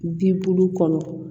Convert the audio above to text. Bin bulu kɔnɔ